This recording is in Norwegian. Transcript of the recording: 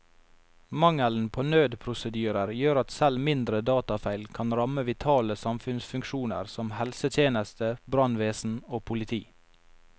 Mangelen på nødprosedyrer gjør at selv mindre datafeil kan ramme vitale samfunnsfunksjoner som helsetjeneste, brannvesen og politi.